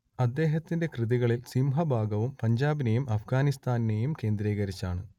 അദ്ദേഹത്തിന്റെ കൃതികളിൽ സിംഹഭാഗവും പഞ്ചാബിനെയും അപ്ഗാനിസ്ഥാനെയും കേന്ദ്രീകരിച്ചാണ്